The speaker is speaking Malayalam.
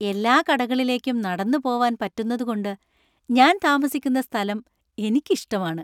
എല്ലാ കടകളിലേക്കും നടന്നു പോവാന്‍ പറ്റുന്നതുകൊണ്ട് ഞാൻ താമസിക്കുന്ന സ്ഥലം എനിക്ക് ഇഷ്ടമാണ്.